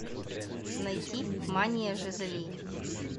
найти мания жизели